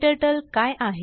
KTurtleकाय आहे